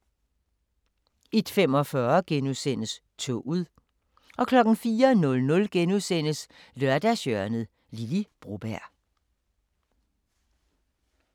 01:45: Toget * 04:00: Lørdagshjørnet - Lily Broberg *